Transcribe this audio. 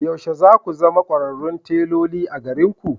Yaushe za ku zama kwararrun teloli a garinku?